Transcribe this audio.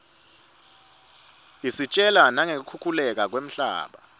isitjela nangeku khukhuleka kwemhlaba